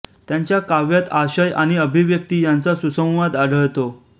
त्यांच्या काव्यात आशय आणि अभिव्यक्ती यांचा सुसंवाद आढळतो